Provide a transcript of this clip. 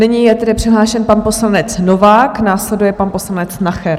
Nyní je tedy přihlášen pan poslanec Novák, následuje pan poslanec Nacher.